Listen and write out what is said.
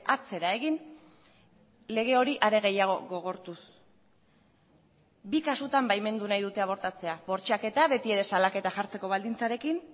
atzera egin lege hori are gehiago gogortuz bi kasutan baimendu nahi dute abortatzea bortxaketa beti ere salaketa jartzeko baldintzarekin